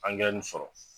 sɔrɔ